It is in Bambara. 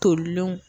Tolilenw